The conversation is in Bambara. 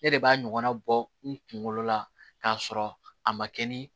Ne de b'a ɲɔgɔnna bɔ n kunkolo la k'a sɔrɔ a ma kɛ ni